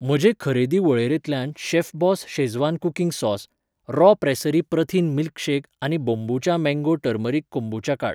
म्हजे खरेदी वळेरेंतल्यान Chefboss schezwan cooking sauce , Raw Pressery प्रथिन मिल्कशेक आनी बोंबुचा मॅंगो टर्मरीक कोंबुचा काड.